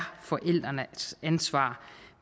forældrenes ansvar